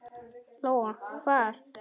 Lóa: Hvar?